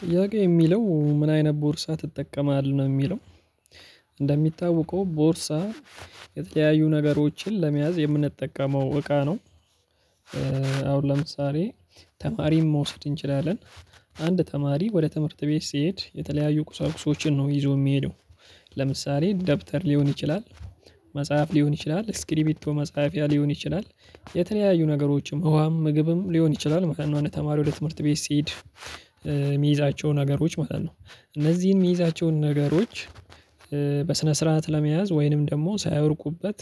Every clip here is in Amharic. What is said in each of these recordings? ጥያቄው የሚለው ምን አይነት ቦርሳ ትጠቀማለህ ነው የሚለው? እንደሚታወቀው ቦርሳ የተለያዩ ነገሮችን ለመያዝ የምንጠቀመው እቃ ነው። አሁን ለምሳሌ ተማሪም መውሰድ እንችላለን። አንድ ተማሪ ወደ ትምህርት ቤት ስሄድ የተለያዩ ቁሳቁሶችን ነው ይዞ የሚሄደው። ለምሳሌ ደብተር ሊሆን ይችላል መጽሐፍ ሊሆን ይችላል ስክሪቢቶ መጽሐፊያ ሊሆን ይችላል። የተለያዩ ነገሮችም ውሃም ምግብም ሊሆን ይችላል ማለት ነው አንድ ተማሪ ወደ ትምህርት ቤት ሲሄድ የሚይዛቸው ነገሮች ማለት ነው። እነዚህን የሚይዛቸውን ነገሮች በስነ ስርዓት ለመያዝ ወይንም ደግሞ ሳያወድቁበት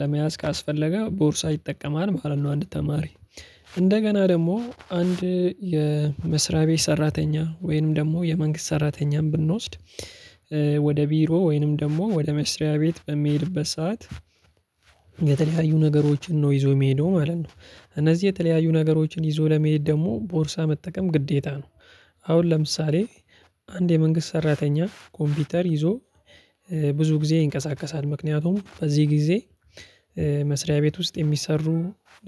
ለመያዝ ካስፈለገ ቦርሳ ይጠቀማል ማለት ነው። አንድ ተማሪ እንደገና ደግሞ አንድ የመስሪያ ቤት ሰራተኛ ወይንም ደግሞ የመንግስት ሰራተኛም ብንወስድ። ወደ ቢሮ ወይንም ደግሞ ወደ መስሪያ ቤት በሚሄድበት ሰዓት የተለያዩ ነገሮችን ነው ይዞ የሚሄደው ማለት ነው። እነዚህ የተለያዩ ነገሮችን ይዞ ለመሄድ ደግሞ ቦርሳ መጠቀም ግዴታ ነው። አሁን ለምሳሌ አንድ የመንግስት ሰራተኛ ኮምፒተር ይዞ ብዙ ጊዜ ይንቀሳቀሳል ምክንያቱም በዚህ ጊዜ መስሪያ ቤት ውስጥ የሚሰሩ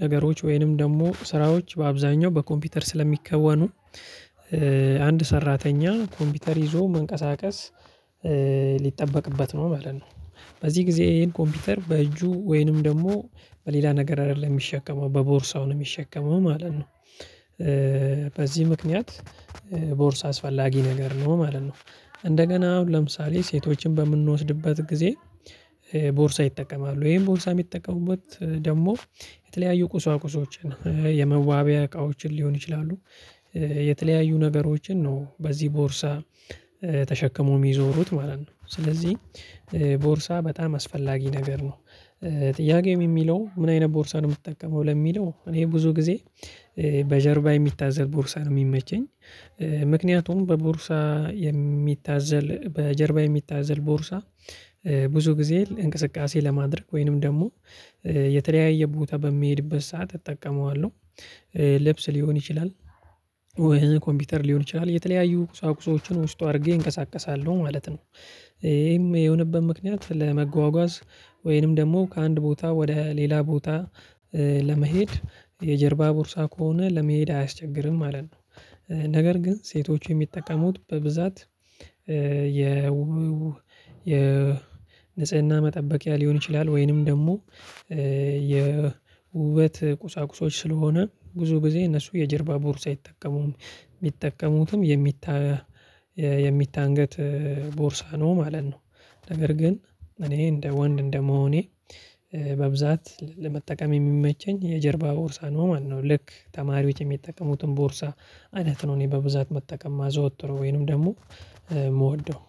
ነገሮች ወይንም ደግሞ ስራዎች በአብዛኛው በኮምፒተር ስለሚከወኑ። አንድ ሰራተኛ ኮምፒተር ይዞ መንቀሳቀስ ሊጠበቅበት ነው ማለት ነው። በዚህ ጊዜ ይሄን ኮምፒተር በእጁ ወይንም ደግሞ በሌላ ነገር አይደለም የሚሸከመው በቦርሳው ነው የሚሸከመው ማለት ነው። በዚህ ምክንያት ቦርሳ አስፈላጊ ነገር ነው ማለት ነው። እንደገና አሁን ለምሳሌ ሴቶችን በምንወስድበት ጊዜ ቦርሳ ይጠቀማሉ ይሄን ቦርሳ የሚጠቀሙበት ደግሞ የተለያዩ ቁሳቁሶችን የመዋቢያ እቃዎችን ሊሆን ይችላሉ። የተለያዩ ነገሮችን ነው በዚህ ቦርሳ ተሸክመው የሚዞሩት ማለት ነው። ስለዚህ ቦርሳ በጣም አስፈላጊ ነገር ነው። ጥያቄም የሚለው ምን አይነት ቦርሳ ነው የምትጠቀመው ለሚለው? እኔ ብዙ ጊዜ በጀርባ የሚታዘል ቦርሳ ነው የሚመቸኝ። ምክንያቱም በቦርሳ የሚታዘል በጀርባ የሚታዘል ቦርሳ ብዙ ጊዜ እንቅስቃሴ ለማድረግ ወይንም ደግሞ የተለያየ ቦታ በሚሄድበት ሰዓት እጠቀመዋለሁ። ልብስ ሊሆን ይችላል ወይ ኮምፒውተር ሊሆን ይችላል የተለያዩ ቁሳቁሶችን ውስጡ አድርጌ እንቀሳቀሳለሁ ማለት ነው። ይሄም የሆነበት ምክንያት ለመጓጓዝ ወይንም ደግሞ ከአንድ ቦታ ወደ ሌላ ቦታ ለመሄድ የጀርባ ቦርሳ ከሆነ ለመሄድ አያስቸግርም ማለት ነው። ነገር ግን ሴቶች የሚጠቀሙት በብዛት የ የ ንጽህና መጠበቂያ ሊሆን ይችላል ወይንም ደግሞ የውበት ቁሳቁሶች ስለሆነ ብዙ ጊዜ እነሱ የጀርባ ቦርሳ አይጠቀሙም የሚጠቀሙትም የሚታ የሚታንገት ቦርሳ ነው ማለት ነው። ነገር ግን እኔ እንደ ወንድ እንደ መሆኔ በብዛት ለመጠቀም የሚመቸኝ የጀርባ ቦርሳ ነው ማለት ነው ልክ ተማሪዎች የሚጠቀሙትን ቦርሳ ማለት ነው እኔ በብዛት መጠቀም ማዝወትረው ወይንም ደግሞ የምወደው።